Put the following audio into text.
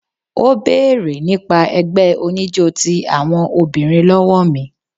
Ó béèrè nípa ẹgbẹ́ oníjó ti àwọn obìnrin lọ́wọ́ mi.